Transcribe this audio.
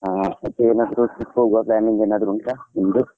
ಹಾ, ಮತ್ತೆ ಏನಾದ್ರು trip ಹೋಗುವ planning ಏನಾದ್ರು ಉಂಟಾ, ನಿಮ್ದು?